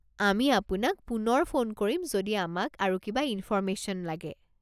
আমি আপোনাক পুনৰ ফোন কৰিম যদি আমাক আৰু কিবা ইনফৰমেশ্যন লাগে।